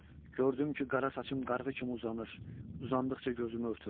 Gördüm ki, qara saçım qarğı kimi uzanır, uzandıqca gözümü örtür.